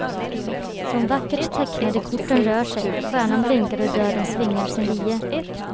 De vackert tecknade korten rör sig, stjärnan blinkar och döden svingar sin lie.